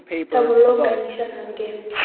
Það var lokað inn í svefnherbergið.